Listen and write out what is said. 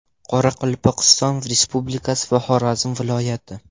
Qoraqalpog‘iston Respublikasi va Xorazm viloyati .